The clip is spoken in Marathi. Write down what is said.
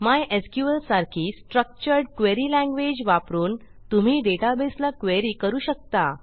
मायस्क्ल सारखी स्ट्रक्चर्ड क्वेरी लँग्वेज वापरून तुम्ही डेटाबेसला क्वेरी करू शकता